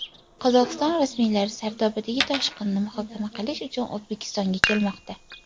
Qozog‘iston rasmiylari Sardobadagi toshqinni muhokama qilish uchun O‘zbekistonga kelmoqda.